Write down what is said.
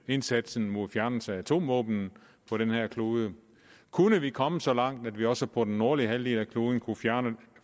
indsatsen mod fjernelse af atomvåben på den her klode kunne vi komme så langt at vi også på den nordlige halvdel af kloden kunne